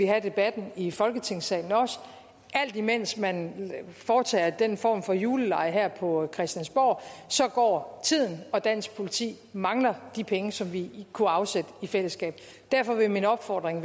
have debatten i folketingssalen og alt imens man foretager den form for julelege her på christiansborg går tiden og dansk politi mangler de penge som vi kunne afsætte i fællesskab derfor vil min opfordring